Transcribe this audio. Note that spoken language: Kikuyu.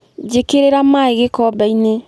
Njĩkĩrĩra maĩ gĩkombe-inĩ.